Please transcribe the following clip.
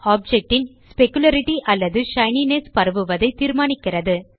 object ன் specularity அல்லது shininess பரவுவதை தீர்மானிக்கிறது